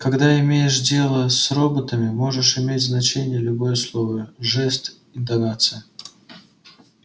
когда имеешь дело с роботами можешь иметь значение любое слово жест интонация